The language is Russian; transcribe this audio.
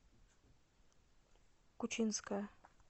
кучинская